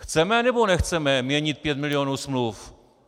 Chceme, nebo nechceme měnit pět milionů smluv?